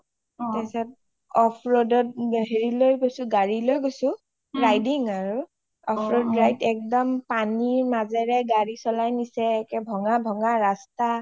off road ত গাৰি লৈ গৈছো riding আৰু অ একদম পানিৰ মাজৰে গাৰি চলাই নিচে ভঙা ভঙা ৰাস্তা